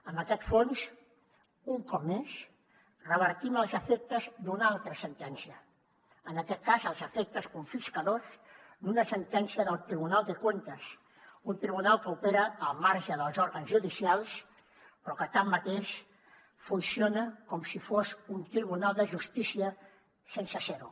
amb aquest fons un cop més revertim els efectes d’una altra sentència en aquest cas els efectes confiscadors d’una sentència del tribunal de cuentas un tribunal que opera al marge dels òrgans judicials però que tanmateix funciona com si fos un tribunal de justícia sense ser ho